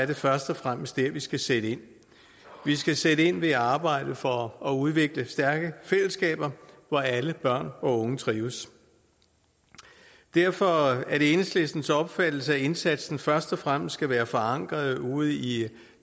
det først og fremmest der vi skal sætte ind vi skal sætte ind ved at arbejde for at udvikle stærke fællesskaber hvor alle børn og unge trives derfor er det enhedslistens opfattelse at indsatsen først og fremmest skal være forankret ude i